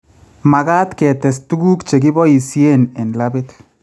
Magat ketes tuguk chekipoisheen en labit